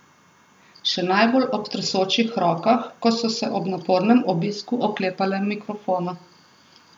Še najbolj ob tresočih rokah, ko so se ob napornem obisku oklepale mikrofona.